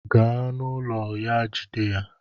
Gaa na ụlọ ya Jide ya!